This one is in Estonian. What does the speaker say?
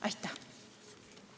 Aitäh!